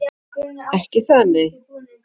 Ekki það nei.